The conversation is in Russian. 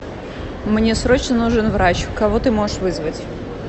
мне срочно нужен врач кого ты можешь вызвать